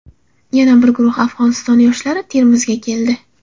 Yana bir guruh Afg‘oniston yoshlari Termizga keldi.